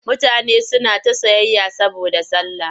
Mutane suna ta sayayya saboda sallah.